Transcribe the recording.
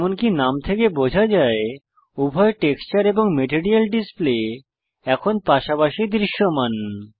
যেমনকি নাম থেকে বোঝা যায় উভয় টেক্সচার এবং মেটেরিয়াল ডিসপ্লে এখন পাশাপাশি দৃশ্যমান